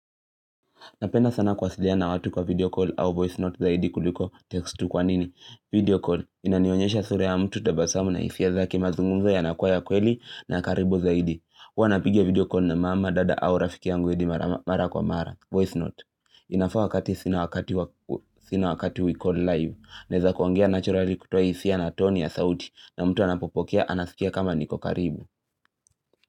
Napenda sana kuwasiliana watu kwa video call au voice note zaidi kuliko text tu kwa nini. Video call. Inanionyesha sura ya mtu tabasamu na isia zake mazungumzo yanakuwa ya kweli na karibu zaidi. Huwa napiga video call na mama, dada au rafiki yangu hadi mara kwa mara. Voice note. Inafaa wakati sina wakati we call live. Naweza kuongea naturali kutoa hisia na toni ya sauti. Na mtu anapopokea anasikia kama niko karibu.